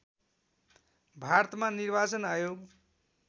भारतमा निर्वाचन आयोग